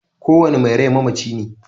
Ko wani mai rai mamaci ne